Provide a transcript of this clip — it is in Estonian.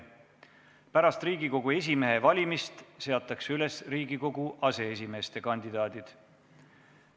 Pärast Riigikogu esimehe valimist seatakse üles Riigikogu aseesimeeste kandidaadid.